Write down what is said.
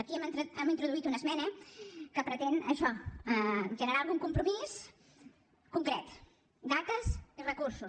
aquí hi hem introduït una esmena que pretén això generar algun compromís concret dates i recursos